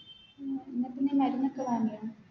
ഉം എന്നിട്ട് നീ മരുന്നൊക്കെ വാങ്ങിയ